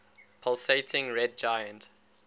pulsating red giant